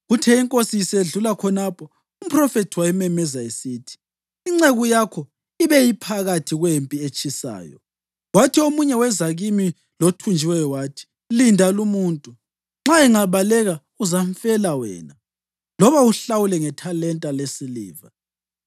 Kuthe inkosi isedlula khonapho, umphrofethi wayimemeza esithi, “Inceku yakho ibe iphakathi kwempi etshisayo, kwathi omunye weza kimi lothunjiweyo wathi, ‘Linda lumuntu. Nxa engabaleka, uzamfela wena, loba uhlawule ngethalenta lesiliva.’